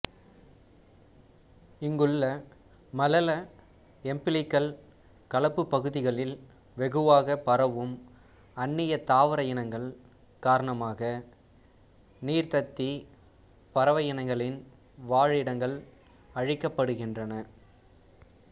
இங்குள்ள மலல எம்பிலிக்கல களப்புப் பகுதிகளில் வெகுவாகப் பரவும் அன்னிய தாவர இனங்கள் காரணமாக நீர்த்தத்திப் பறவையினங்களின் வாழிடங்கள் அழிக்கப்படுகின்றன